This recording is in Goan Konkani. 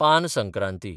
पान संक्रांती